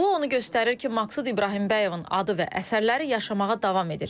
Bu onu göstərir ki, Maqsud İbrahimbəyovun adı və əsərləri yaşamağa davam edir.